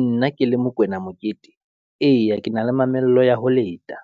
Nna ke le Mokwena Mokete, eya ke na le mamello ya ho leta,